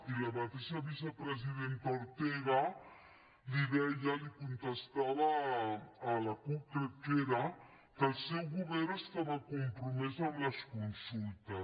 i la mateixa vicepresidenta ortega li deia li contestava a la cup crec que era que el seu govern estava compromès amb les consultes